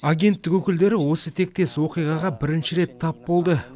агенттік өкілдері осы тектес оқиғаға бірінші рет тап болды